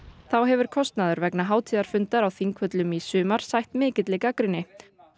þá hefur kostnaður vegna hátíðarfundar á Þingvöllum í sumar sætt mikilli gagnrýni